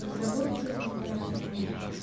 разработки в разные